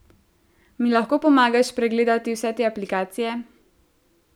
Mi lahko pomagaš pregledati vse te aplikacije?